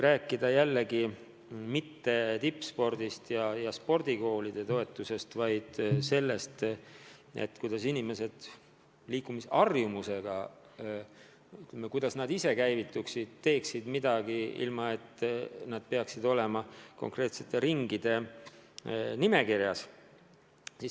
Ma ei räägi mitte tippspordist ja spordikoolide toetusest, vaid sellest, kuidas inimesed ise käivituksid, teeksid midagi, ilma et peaksid olema konkreetselt mõne ringi nimekirjas.